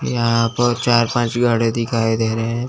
यहां पर चार पांच गाड़ी दिखाई दे रहे हैं।